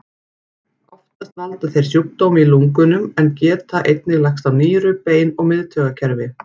Oftast valda þeir sjúkdómi í lungunum en geta einnig lagst á nýru, bein og miðtaugakerfi.